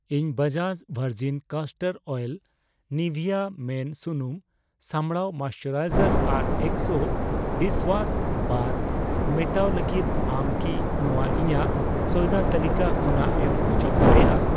ᱤᱧ Bajaj virgin castor oil, ᱱᱤᱵᱷᱤᱭᱟ ᱢᱤᱱ ᱥᱩᱱᱩᱢ ᱥᱟᱢᱲᱟᱣ ᱢᱚᱭᱮᱥᱪᱟᱨᱟᱭᱡᱟᱨ ᱟᱨ ᱮᱠᱥᱳ ᱰᱤᱥᱣᱟᱥ ᱵᱟᱨ ᱢᱮᱴᱟᱣ ᱞᱟᱹᱜᱤᱫ, ᱟᱢ ᱠᱤ ᱱᱚᱣᱟ ᱤᱧᱟᱜ ᱥᱚᱭᱫᱟ ᱛᱟᱹᱞᱤᱠᱟ ᱠᱷᱚᱱᱟᱜ ᱮᱢ ᱚᱪᱚᱜ ᱫᱟᱲᱮᱭᱟᱜᱼᱟ ?